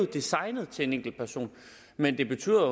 designet til en enkelt person men det betyder